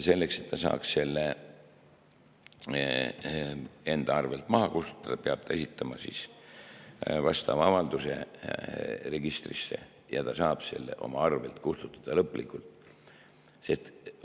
Selleks, et ta saaks selle enda arvelt maha kustutada, peab ta esitama vastava avalduse registrisse ja ta saab selle oma arvelt lõplikult kustutada.